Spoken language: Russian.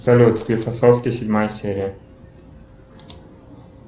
салют склифосовский седьмая серия